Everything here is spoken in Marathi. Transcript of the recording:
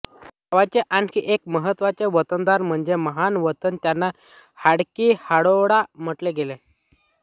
गावचा आणखी एक महत्त्वाचा वतनदार म्हणजे महार वतन ज्याला हाडकी हाडोळा म्हटले गेले